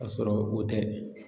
Kasɔrɔ o tɛ